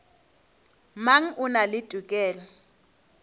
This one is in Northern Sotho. mang o na le tokelo